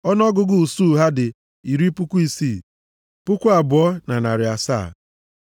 Ọnụọgụgụ usuu ha dị iri puku isii, puku abụọ na narị asaa (62,700).